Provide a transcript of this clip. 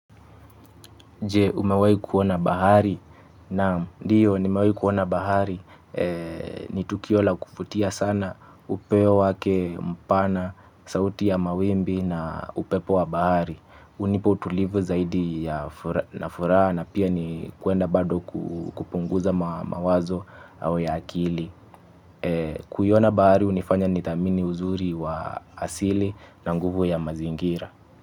Je umewahi kuona bahari naam ndiyo nimewahi kuona bahari ni tukio la kuvutia sana upeo wake mpana sauti ya mawimbi na upepo wa bahari hunipa utulivu zaidi ya nafuraha na pia ni kwenda bado kupunguza mawazo au ya akili. Kuiona bahari hunifanya nidhamini uzuri wa asili na nguvu ya mazingira.